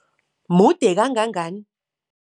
Mude kangangani?